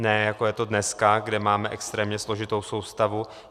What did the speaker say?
Ne jako je to dneska, kde máme extrémně složitou soustavu.